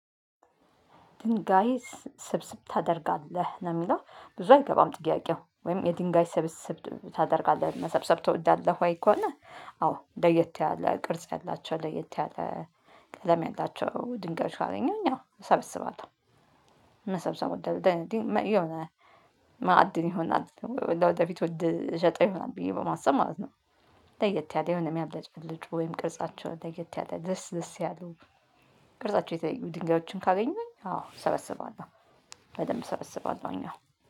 ድንጋይ ስ ስብስብ ታደርጋለህ ነው የሚለው ብዙ አይገባም ጥያቄው ወይም የድንጋይ ስብስብ ታደርጋለህ መሰብሰብ ትወዳለህ ወይ? ከሆነ አዎ ለየት ያለ ቅርጽ ያላቸው ለየት ያለ ቀለም ያላቸው ድንጋዮች ካገኘሁኝ ያው እሰበስባለሁ። መሰብሰብ እወዳለሁ ደድመ የሆነ ማዕድን ይሆናል ለወደፊት ውድ እሸጠው ይሆናል ብዬ በማሰብ ማለት ነው። ለየት ያለ የሆነ የሚያብለጭብልጭ ወይም ቅርጻቸውን ለየት ያለ ደስ ደስ ያለው። ቅርጻቸው የተለዩ ድንጋዮችን ካገኘሁኝ አዎ እሰበስባለሁ። በደንብ እሰበስባለሁኝ አዎ